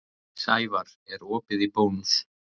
Sævarr, er opið í Bónus?